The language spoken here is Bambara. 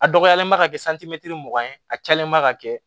A dɔgɔyalen ma ka kɛ mugan ye a cayalenba ka kɛ